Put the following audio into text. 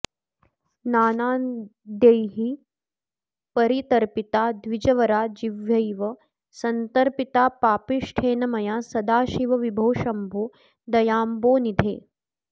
नान्नाद्यैः परितर्पिता द्विजवरा जिह्वैव संतर्पिता पापिष्ठेन मया सदाशिव विभो शंभो दयाम्भोनिधे